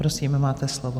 Prosím, máte slovo.